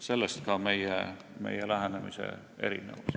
Sellest ka meie lähenemise erinevus.